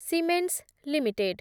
Siemens limited